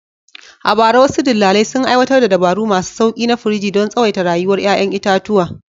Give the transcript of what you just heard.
A bara, wasu dillalai sun aiwatar da dabaru masu sauƙi na firiji don tsawaita rayuwar ƴaƴan itatuwa.